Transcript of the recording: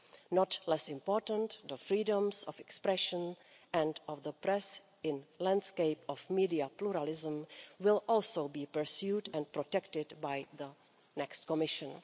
Not less important, the freedoms of expression and of the press in the landscape of media pluralism will also be pursued and protected by the next Commission.